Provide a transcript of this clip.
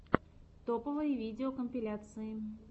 топовые видеокомпиляции